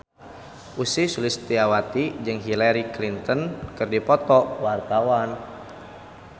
Ussy Sulistyawati jeung Hillary Clinton keur dipoto ku wartawan